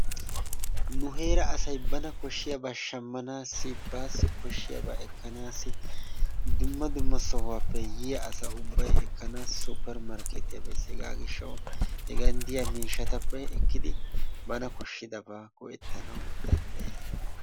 Nu heera asay bana koshshiyaaba shammanaassi, baassi koshshiyaabaa ekkanaassi, dumma dumma sohuwaappe yiyaa asa ubbay ekkanaasi suppermarkeettiya bees. Hegaa gishshawu hegan diya miishatappe ekkidi bana koshshidabaa go"ettanawu dandayes.